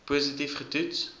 positief ge toets